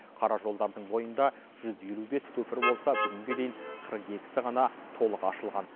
қара жолдардың бойында жүз елу бес көпір болса бүгінге дейін қырық екісі ғана толық ашылған